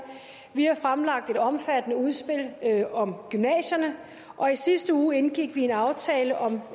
vi har fremlagt et omfattende udspil om gymnasierne og i sidste uge indgik vi en aftale om